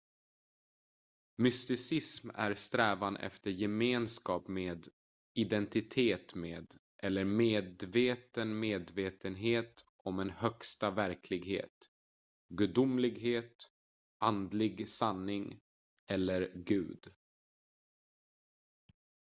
mysticism är strävan efter gemenskap med identitet med eller medveten medvetenhet om en högsta verklighet gudomlighet andlig sanning eller gud